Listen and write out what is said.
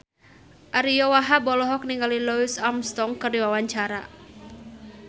Ariyo Wahab olohok ningali Louis Armstrong keur diwawancara